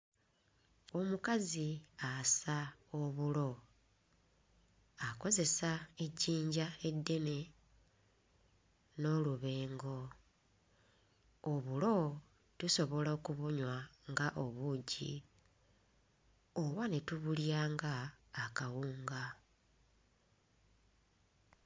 Omukazi assa obulo akozesa ejjinja eddene n'olubengo, obulo tusobola okubunywa nga obugi oba ne tubulya nga akawunga